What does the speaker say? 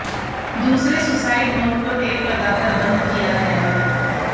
दूसरे suicide note को tape लगाकर बंद किया गया है